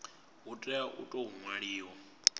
hu tea u tou ṅwaliwa